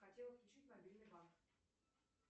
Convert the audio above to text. хотела отключить мобильный банк